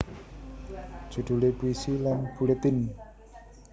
Judule Puisi lan Buletin